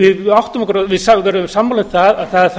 við áttum okkur á við verðum sammála um það að það þarf